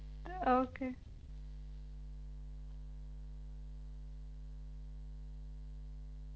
Okay